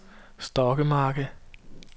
Stokkemarke